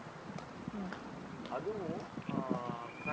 அதுவும் ஆஹ்